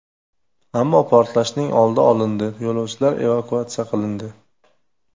Ammo portlashning oldi olindi, yo‘lovchilar evakuatsiya qilindi.